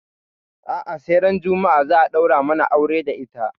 A'a sai ran juma'a za a ɗaura mana aure da ita.